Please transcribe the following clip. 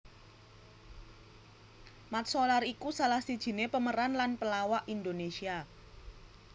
Mat Solar iku salah sijiné pemeran lan pelawak Indonesia